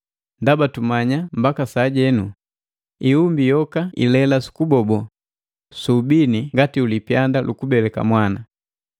Ndaba tumanya mbaka sajenu, ihumbi yoka ilela sukubobo su ubini ngati ulipyanda lukubeleka mwana.